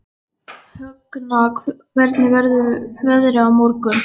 Högna, hvernig verður veðrið á morgun?